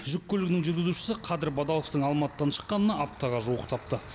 жүк көлігінің жүргізушісі қадыр бадаловтың алматыдан шыққанына аптаға жуықтапты